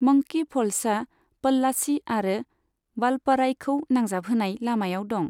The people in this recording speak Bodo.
मंकी फ'ल्सआ, प'ल्लाची आरो वालपराईखौ नांजाबहोनाय लामायाव दं।